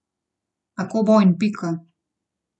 Tako bo in pika.